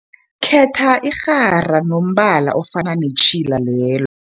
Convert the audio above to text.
Khetha irhara enombala ofana netjhila lel